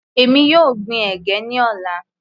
Èmi yóò gbin ẹ̀gẹ́ ní ọ̀la.